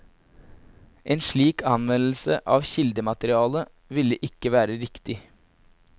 En slik anvendelse av kildematerialet ville ikke være riktig.